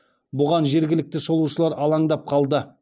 бұған жергілікті шолушылар алаңдап қалды